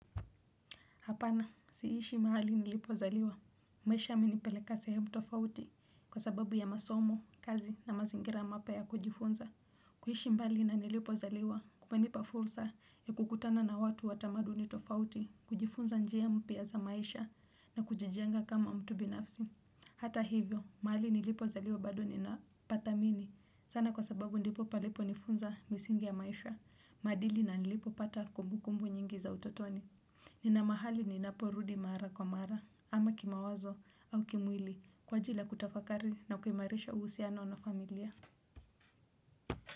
Hapana, siishi mahali nilipozaliwa. Maisha yamenipeleka sehemu tofauti kwa sababu ya masomo, kazi na mazingira mapya kujifunza. Kuhishi mbali na nilipozaliwa, kunanipa fulsa ya kukutana na watu watamaduni tofauti, kujifunza njia mpya za maisha na kujijenga kama mtu binafsi. Hata hivyo, mahali nilipozaliwa bado nina pata mimi. Sana kwa sababu ndipo palipo nifunza misingi ya maisha, madili na nilipopata kumbu kumbu nyingi za utotoni. Nina mahali ninaporudi mara kwa mara ama kima wazo au kimwili kwa ajili kutafakari na ukuimarisha uhusiano na familia.